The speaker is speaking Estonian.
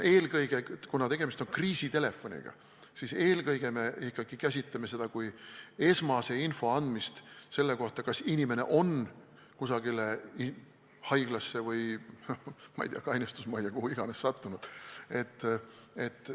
Kuna tegemist on kriisitelefoniga, siis me käsitleme seda ikkagi eelkõige kui esmase info andmist selle kohta, kas inimene on sattunud kusagile haiglasse, kainestusmajja või kuhu tahes.